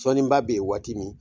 Sɔnniba be yen waati min